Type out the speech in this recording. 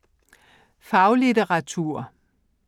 Faglitteratur